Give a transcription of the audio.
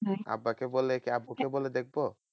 আব্বাকে বলে কি আব্বুকে বলে দেখবো?